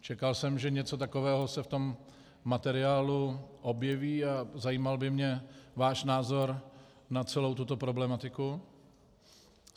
Čekal jsem, že něco takového se v tom materiálu objeví, a zajímal by mě váš názor na celou tuto problematiku.